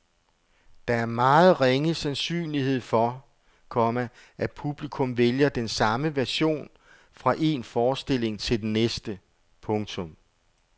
Der er meget ringe sandsynlighed for, komma at publikum vælger den samme version fra en forestilling til den næste. punktum